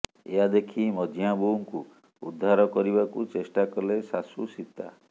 ଏହା ଦେଖି ମଝିଆ ବୋହୂଙ୍କୁ ଉଦ୍ଧାର କରିବାକୁ ଚେଷ୍ଟା କଲେ ଶାଶୂ ସୀତା